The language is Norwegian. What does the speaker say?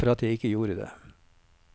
Takk for at jeg ikke gjorde det.